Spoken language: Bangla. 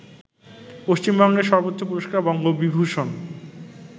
পশ্চিমবঙ্গের সর্বোচ্চ পুরস্কার বঙ্গবিভূষণ